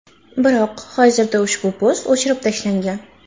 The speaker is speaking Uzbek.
Biroq hozirda ushbu post o‘chirib tashlangan.